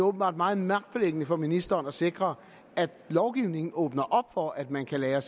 åbenbart meget magtpåliggende for ministeren at sikre at lovgivningen åbner op for at man kan lagre